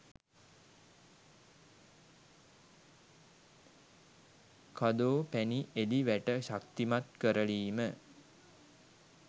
කදෝ පැණි එළි වැට ශක්තිමත් කරලීම